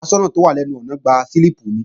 Aṣọ́nà tó wà lẹ́nu Ilẹ̀kùn gba slíìpù mi